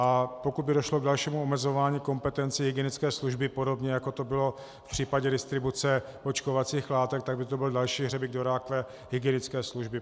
A pokud by došlo k dalšímu omezování kompetencí hygienické služby, podobně jako to bylo v případě distribuce očkovacích látek, tak by to byl další hřebík do rakve hygienické služby.